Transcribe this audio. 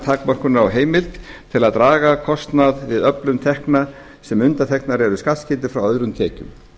takmörkunar á heimild til að draga kostnað við öflun tekna sem undanþegnar eru skattskyldu frá öðrum tekjum